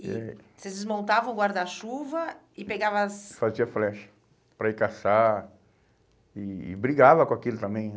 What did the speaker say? É... E vocês desmontavam o guarda-chuva e pegavam as... Fazia flecha para ir caçar e e brigava com aquilo também.